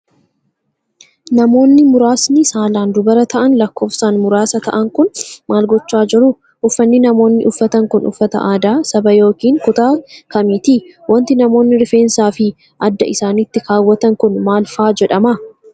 Namoonni muraasni saalaan dubara ta'an lakkoofsan muraasa ta'an kun, maal gochaa jiru? Uffanni namoonni uffatan kun, uffata aadaa saba yokin kutaa kamiiti? Wanti namoonni rifeensaa fi adda isaanitti kaawwatan kun, maal faa jedhama?